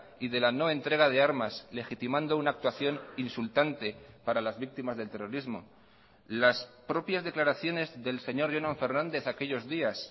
y de la no entrega de armas legitimando una actuación insultante para las víctimas del terrorismo las propias declaraciones del señor jonan fernández aquellos días